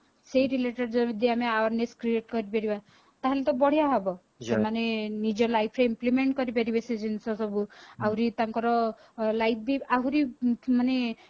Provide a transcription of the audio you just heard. ସେଇ related ଯଦି ଆମେ awareness create କରି ପାରିବା ତାହାଲେ ତ ବଢିଆ ହବ ସେମାନେ ନିଜ life ରେ implement କରିପାରିବେ ସେ ଜିନିଷ ସବୁ ଆହୁରି ତାଙ୍କର life ବି ଆହୁରି ମାନେ